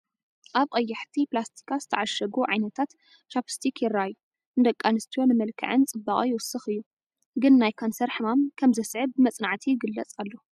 ኣብ ቀያሕቲ ኘላስቲካት ዝተዓሸጉ ዓይነታት ቻኘስቲክ ይረኣዩ፡፡ ንደቂ ኣንስትዮ ንመልክዐን ፅባቐ ይውስኽ እዩ፡፡ ግን ናይ ካንሰር ሕማም ከምዘስዕብ ብመፅናዕቲ ይግለፅ ኣሎ፡፡